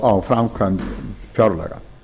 á framkvæmd fjárlaga